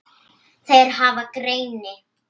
Þeir hafa greini